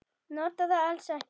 Nota það alls ekki.